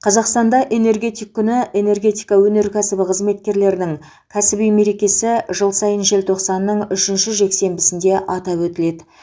қазақстанда энергетик күні энергетика өнеркәсібі қызметкерлерінің кәсіби мерекесі жыл сайын желтоқсанның үшінші жексенбісінде атап өтіледі